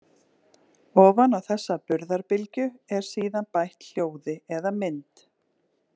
Ofan á þessa burðarbylgju er síðan bætt hljóði eða mynd.